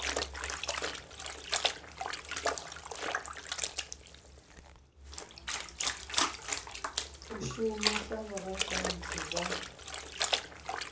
u shuma sa vhorasaintsi vha